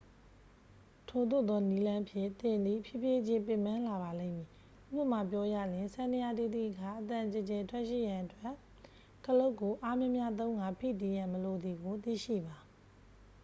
ထိုသို့သောနည်းလမ်းဖြင့် သင်သည် ဖြည်းဖြည်းချင်း ပင်ပန်းလာပါလိမ့်မည် ဉပမာပြောရလျှင် စန္ဒယားတီးသည့်အခါ အသံကျယ်ကျယ်ထွက်ရှိရန်အတွက် ခလုတ်ကိုအားများများသုံးကာ ဖိတီးရန် မလိုသည်ကို သိရှိပါ